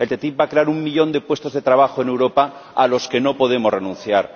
La ATCI va a crear un millón de puestos de trabajo en Europa, a los que no podemos renunciar.